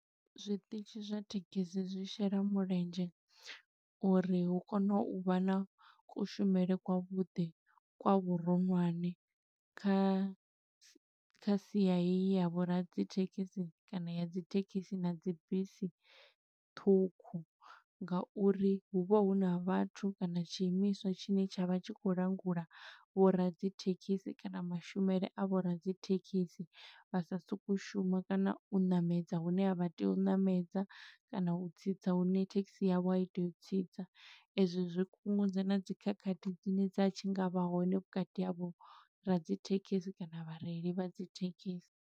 Zwiṱitshi zwa thekhisi zwi shela mulenzhe, uri hu kone u vha na kushumele kwa vhuḓi kwa vhuroṅwane kha sia heyi ya vho radzithekhisi, kana ya dzi thekhisi na dzi bisi ṱhukhu. Nga uri hu vha huna vhathu kana tshiimiswa tshine tsha vha tshi khou langula vho radzithekhisi kana mashumele a vho radzithekhisi. Vha sa sokou shuma kana u ṋamedza hune a vha tea u ṋamedza, kana u tsitsa hune thekhisi yavho a i tei u tsitsa. Ezwo zwi kungudza na dzi khakhathi dzine dza tshi nga vha hone vhukati havho radzithekhisi kana vhareili vha dzi thekhisi.